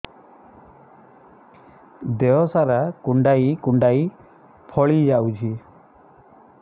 ଦେହ ସାରା କୁଣ୍ଡାଇ କୁଣ୍ଡାଇ ଫଳି ଯାଉଛି